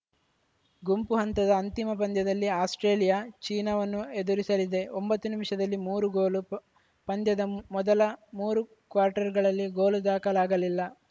ಗುಂಪು ಹಂತದ ಅಂತಿಮ ಪಂದ್ಯದಲ್ಲಿ ಆಸ್ಪ್ರೇಲಿಯಾ ಚೀನಾವನ್ನು ಎದುರಿಸಲಿದೆ ಒಂಬತ್ತು ನಿಮಿಷದಲ್ಲಿ ಮೂರು ಗೋಲು ಪಂದ್ಯದ ಮೊದಲ ಮೂರು ಕ್ವಾರ್ಟರ್‌ಗಳಲ್ಲಿ ಗೋಲು ದಾಖಲಾಗಲಿಲ್ಲ